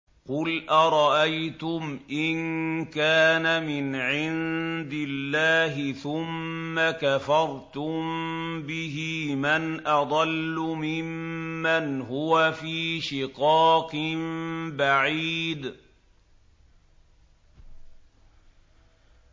قُلْ أَرَأَيْتُمْ إِن كَانَ مِنْ عِندِ اللَّهِ ثُمَّ كَفَرْتُم بِهِ مَنْ أَضَلُّ مِمَّنْ هُوَ فِي شِقَاقٍ بَعِيدٍ